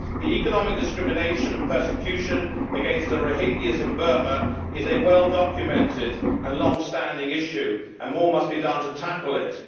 The economic discrimination and persecution against the Rohingya in Burma is a well documented and long standing issue and more must be done to tackle it.